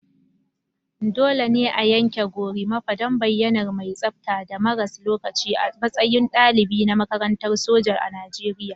Dole ne a yanke Gorimapa don bayyanar mai tsabta da maras lokaci a matsayin dalibi na makarantar soja na Najeriya